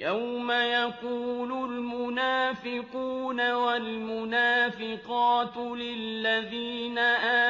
يَوْمَ يَقُولُ الْمُنَافِقُونَ وَالْمُنَافِقَاتُ لِلَّذِينَ